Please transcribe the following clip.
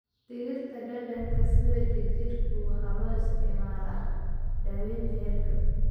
Dhirta dhadhanka sida jirjirku waxay loo isticmaalaa daaweynta hargab.